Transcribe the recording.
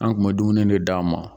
An tun dumuni de d'a ma.